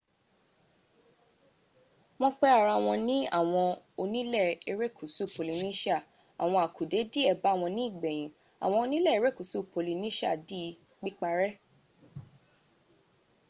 wọn pẹ ara wọn ní àwọn ónilé ẹrẹ́kúsú polynesia àwọn àkùdẹ́ díè bàwọn ní ìgbẹ̀yìn àwọn ónilé ẹrẹ́kúsú polynesia di píparẹ́